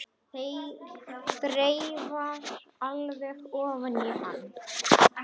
Þreifar alveg ofan í hann.